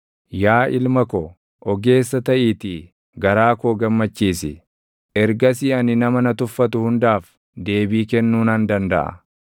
Yaa ilma ko, ogeessa taʼiitii garaa koo gammachiisi; ergasii ani nama na tuffatu hundaaf // deebii kennuu nan dandaʼa.